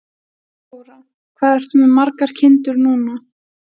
Þóra: Hvað ertu með margar kindur núna?